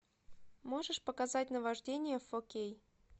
можешь показать наваждение фо кей